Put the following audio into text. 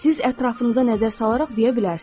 Siz ətrafınıza nəzər salaraq deyə bilərsiniz.